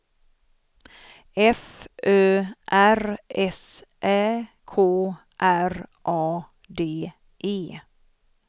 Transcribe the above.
F Ö R S Ä K R A D E